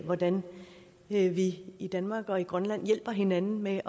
hvordan vi vi i danmark og i grønland hjælper hinanden med